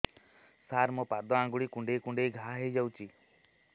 ସାର ମୋ ପାଦ ଆଙ୍ଗୁଳି କୁଣ୍ଡେଇ କୁଣ୍ଡେଇ ଘା ହେଇଯାଇଛି